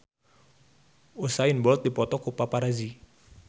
Usain Bolt dipoto ku paparazi